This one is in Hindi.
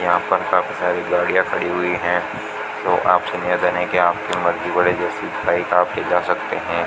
यहां पर काफी सारी गाड़िया खड़ी हुई है तो आपसे निवेदन है कि आपकी मर्जी के जा सकते है।